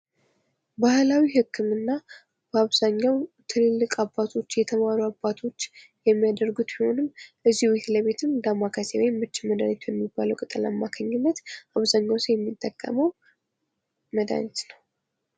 ባህላዊ ህክምና በአብዛኛው ትልልቅ የተማሩ አባቶች የሚያደርጉት ቢሆንም ቤት ለቤትም ዳማከሴ እና የምች መድሃኒት አማካኝነት አብዛኛው ሰው የሚጠቀመው መድሃኒት ነው።